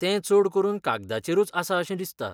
तें चडकरून कागदाचेरूच आसा अशें दिसता.